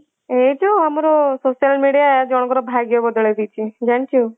ଏଇ ଯୋଉ ଆମର social media ଜଣକର ଭାଗ୍ୟ ବଦଳେଇ ଦେଇଛି ଜାଣିଚୁ।